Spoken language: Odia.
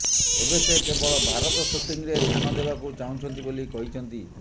ଏବେ ସେ କେବଳ ଭାରତ ସୁଟିଂରେ ଧ୍ୟାନ ଦେବାକୁ ଚାହୁଁଛନ୍ତି ବୋଲି କହିଛନ୍ତି